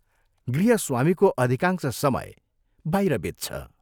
गृहस्वामीको अधिकांश समय बाहिर बित्छ।